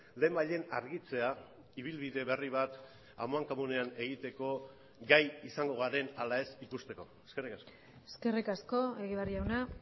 lehenbailehen argitzea ibilbide berri bat amankomunean egiteko gai izango garen ala ez ikusteko eskerrik asko eskerrik asko egibar jauna